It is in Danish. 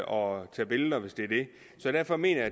og tage billeder hvis det er det derfor mener